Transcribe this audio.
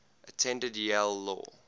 attended yale law